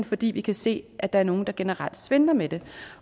fordi vi kan se at der er nogle der generelt svindler med det